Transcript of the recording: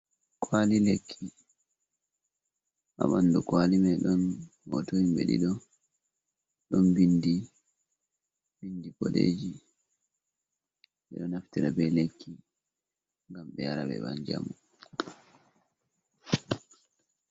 Kwali lekki ha ɓandu kwali mai don hotohim be dido don bindi bindi bodeji bedo naftira be lekki gam be yara be banjamu.